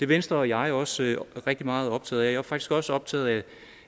venstre og jeg også rigtig meget optaget af jeg er faktisk også optaget af